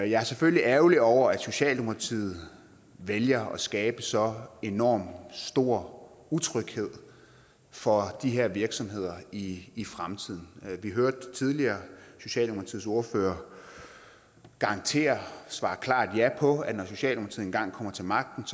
jeg er selvfølgelig ærgerlig over at socialdemokratiet vælger at skabe så enormt stor utryghed for de her virksomheder i i fremtiden vi hørte tidligere socialdemokratiets ordfører garantere og svare klart ja på at når socialdemokratiet engang kommer til magten